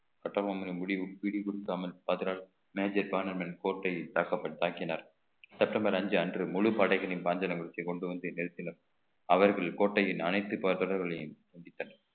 கட்டபொம்மனின் முடிவு விரிவில் தமிழ் major கோட்டையைத் தாக்கப்பட்~ தாக்கினர் செப்டம்பர் அஞ்சு அன்று முழு படைகளையும் பாஞ்சாலமூர்த்தி கொண்டு வந்து நிறுத்தினர் அவர்கள் கோட்டையின் அனைத்து தொடர்களையும் துண்டித்தனர்